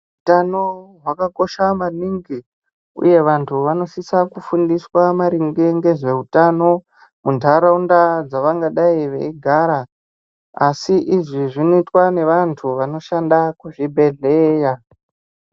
Utano hwakakosha maningi, uye vantu vanosisa kufundiswa maringe ngezveutano vemuntaraunda dzavangadai veigara. Asi izvi zvinoitwa nevantu vanoshanda kuzvibhedhleya.